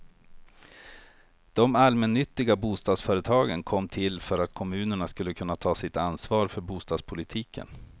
De allmännyttiga bostadsföretagen kom till för att kommunerna skulle kunna ta sitt ansvar för bostadspolitiken.